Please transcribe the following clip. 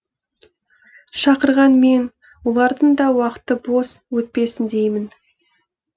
шақырған мен олардың да уақыты бос өтпесін деймін